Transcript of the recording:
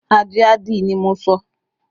Ajé a dí ni mo sọ